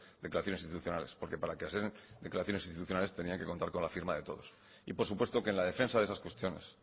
declaraciones institucionales porque para que sean declaraciones constitucionales tenían que contar con la firma de todos y por supuesto que en la defensa de esas cuestiones